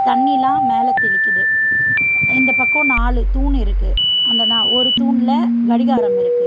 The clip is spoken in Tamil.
தண்ணிலா மேல தெலிக்குது இந்தப் பக்கம் நாலு தூண் இருக்கு அந்த நா ஒரு தூண்ல கடிகாரம் இருக்கு.